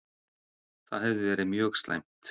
Það hefði verið mjög slæmt.